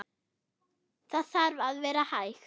Það þarf að vera hægt.